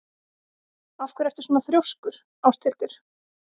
Af hverju ertu svona þrjóskur, Áshildur?